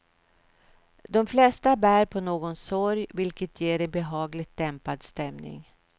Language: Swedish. De flesta bär på någon sorg, vilket ger en behagligt dämpad stämning.